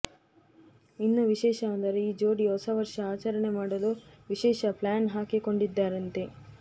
ಇನ್ನೂ ವಿಶೇಷ ಅಂದರೆ ಈ ಜೋಡಿ ಹೊಸ ವರ್ಷ ಆಚರಣೆ ಮಾಡಲು ವಿಶೇಷ ಪ್ಲಾನ್ ಹಾಕಿಕೊಂಡಿದ್ದಾರಂತೆ